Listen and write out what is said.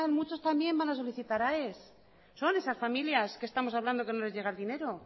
muchos también van a solicitar a aes son esas familias que estamos hablando que no les llega el dinero